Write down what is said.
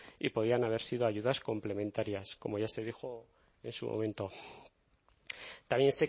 y podían haber sido ayudas complementarias como ya se dijo en su momento también